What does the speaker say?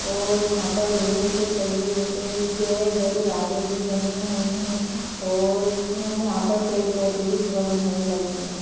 और यहाँ पर लोहे के सरिये जैसे बड़े-बड़े रॉड्‌ भी बनी हुई है और यहाँ पर पेड़ पौधे भी बहुत घने लगे हुए है।